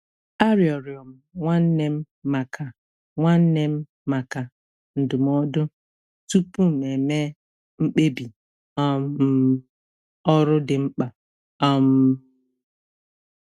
A rịọrọ m nwanne m maka nwanne m maka ndụmọdụ tupu m eme mkpebi um ọrụ dị mkpa. um